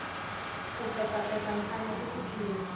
ku petsapetsa nhlana i ku cina